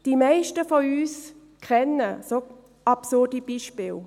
Die meisten von uns kennen solche absurde Beispiele.